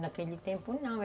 Naquele tempo, não.